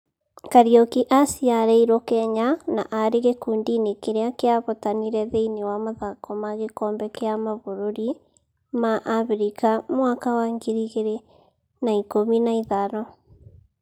Kariuki aaciarĩirwo Kenya na nĩ aarĩ gĩkundi-inĩ kĩrĩa kĩahotanire thĩiniĩ wa mathako ma gĩkombe kĩa mabũrũri ma Abirika mwaka wa ngiri igĩrĩ na ikũmi na ithano.